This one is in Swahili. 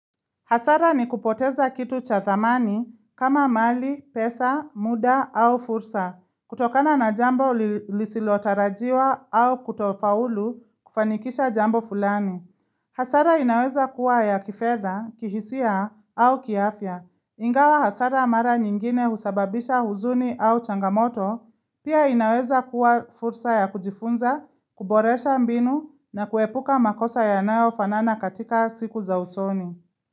Hasara ni kupoteza kitu cha thamani kama mali, pesa, muda au fursa, kutokana na jambo lisilotarajiwa au kutofaulu kufanikisha jambo fulani. Hasara inaweza kuwa ya kifetha, kihisia au kiafya. Ingawa hasara mara nyingine usababisha huzuni au changamoto, pia inaweza kuwa fursa ya kujifunza, kuboresha mbinu na kuepuka makosa ya nao fanana katika siku za usoni.